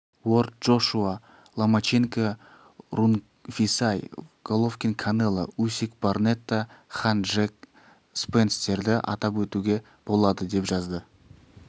уорд джошуа ломаченко рунгвисай головкин канело усик барнетта хан джек спенстерді атап өтуге болады деп жазды